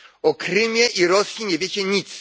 O Krymie i Rosji nie wiecie nic.